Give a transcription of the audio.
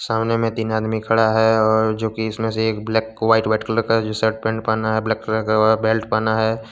सामने में तीन आदमी खड़ा है और जो कि इसमें से एक ब्लैक व्हाइट व्हाइट कलर का जो शर्ट पेंट पहना है ब्लैक कलर का बेल्ट पहना है।